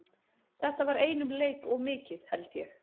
Þetta var einum leik of mikið held ég.